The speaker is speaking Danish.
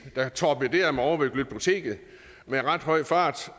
der torpederede mig ovre ved glyptoteket med ret høj fart